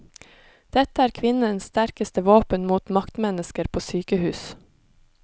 Dette er kvinnens sterkeste våpen mot maktmennesker på sykehus.